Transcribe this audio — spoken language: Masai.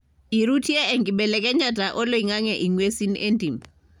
irutie enkibelekenyata oloingange ingwesin entim.